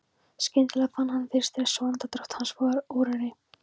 Skyndilega fann hann fyrir stressi og andardráttur hans varð örari.